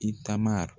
I taama